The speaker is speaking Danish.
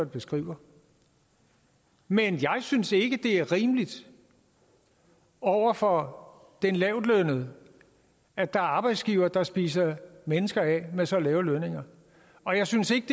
beskriver men jeg synes ikke at det er rimeligt over for den lavtlønnede at der er arbejdsgivere der spiser mennesker af med så lave lønninger og jeg synes ikke